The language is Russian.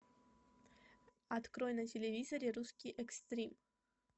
открой на телевизоре русский экстрим